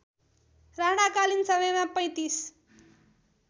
राणाकालीन समयमा ३५